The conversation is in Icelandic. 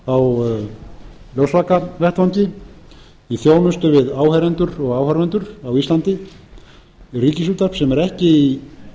á ljósvakavettvangi í þjónustu við áheyrendur og áhorfendur á íslandi ríkisútvarp sem unir ekki